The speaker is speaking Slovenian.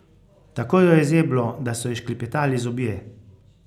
Tako jo je zeblo, da so ji šklepetali zobje.